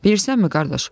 Bilirsənmi qardaş?